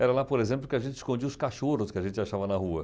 Era lá, por exemplo, que a gente escondia os cachorros que a gente achava na rua.